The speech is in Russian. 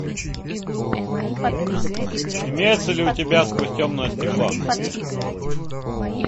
имеется ли у тебя сквозь темное стекло